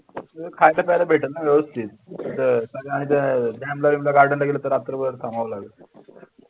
खायचं प्यायचं भेटल ना व्यवस्थित garden ला गेलं तर रात्रभर थांबावं लागेल